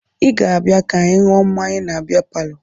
Ị ga-abịa ka anyị ṅụọ mmanya na bịa palọ!